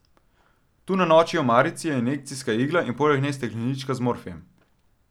Tu na noči omarici je injekcijska igla in poleg nje steklenička z morfijem.